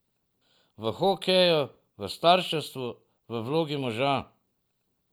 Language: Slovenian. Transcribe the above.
V hokeju, v starševstvu, v vlogi moža.